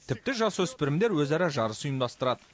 тіпті жасөспірімдер өзара жарыс ұйымдастырады